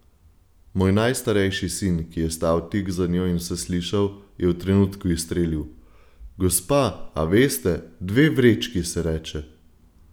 Moj najstarejši sin, ki je stal tik za njo in vse slišal, je v trenutku izstrelil: 'Gospa, a veste, dve vrečki se reče.